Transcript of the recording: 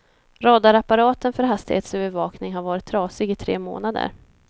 Radarapparaten för hastighetsövervakning har varit trasig i tre månader.